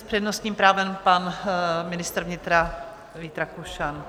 S přednostním právem pan ministr vnitra Vít Rakušan.